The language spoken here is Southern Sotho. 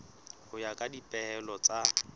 ho ya ka dipehelo tsa